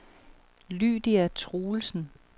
Lydia Truelsen